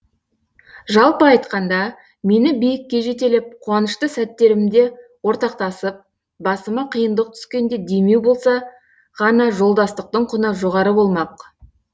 жалпы айтқанда мені биікке жетелеп қуанышты сәттерімде ортақтасып басыма қиындық түскенде демеу болса ғана жолдастықтың құны жоғары болмақ